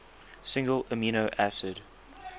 single amino acid